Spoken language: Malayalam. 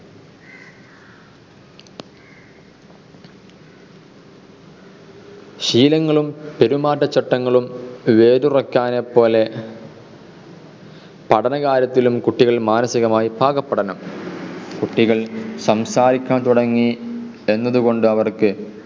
ശീലങ്ങളും പെരുമാറ്റച്ചട്ടങ്ങളും വേതുറക്കാരനെപ്പോലെ പഠനകാര്യത്തിലും കുട്ടികൾ മാനസികമായി പാകപ്പെടണം. കുട്ടികൾ സംസാരിക്കാൻ തുടങ്ങി എന്നതുകൊണ്ട് അവർക്ക്